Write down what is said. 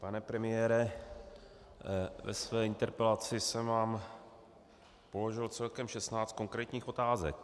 Pane premiére, ve své interpelaci jsem vám položil celkem 16 konkrétních otázek.